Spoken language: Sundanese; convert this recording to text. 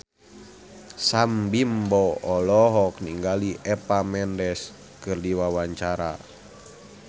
Sam Bimbo olohok ningali Eva Mendes keur diwawancara